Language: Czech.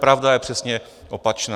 Pravda je přesně opačná.